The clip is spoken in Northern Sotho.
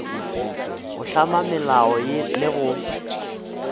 go hlama melao le go